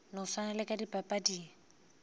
no swana le ka dipapading